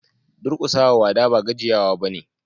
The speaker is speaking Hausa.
Durkusa wa wada ba gajiyawa bane.